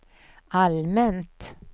allmänt